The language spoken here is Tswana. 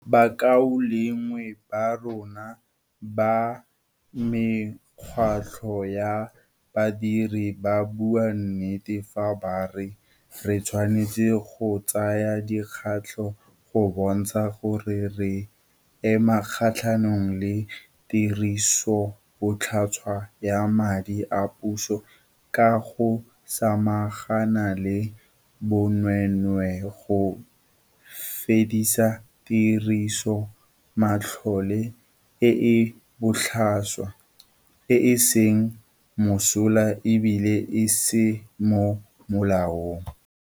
Bakaulengwe ba rona ba mekgatlho ya badiri ba bua nnete fa ba re re tshwanetse go tsaya dikgato go bontsha gore re ema kgatlhanong le tirisobotlhaswa ya madi a puso ka go samagana le bonweenwee, go fedisa tirisomatlole e e botlhaswa, e e seng mosola e bile e se mo molaong.